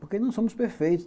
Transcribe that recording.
Porque não somos perfeitos.